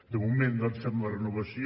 de moment doncs fem la renovació